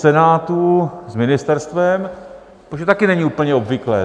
Senátu s ministerstvem, protože to taky není úplně obvyklé.